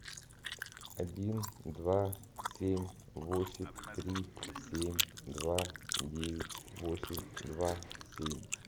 один два семь восемь три семь два девять восемь два семь